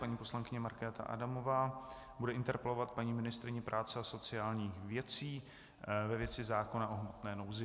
Paní poslankyně Markéta Adamová bude interpelovat paní ministryni práce a sociálních věcí ve věci zákona o hmotné nouzi.